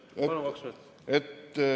Palun, kaks minutit!